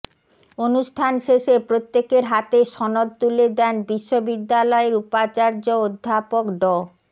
অনুষ্ঠান শেষে প্রত্যেকের হাতে সনদ তুলে দেন বিশ্ববিদ্যালয়ের উপাচার্য অধ্যাপক ড